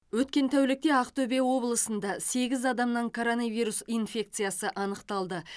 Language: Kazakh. өткен тәулікте ақтөбе облысында сегіз адамнан коронавирус инфекциясы анықталды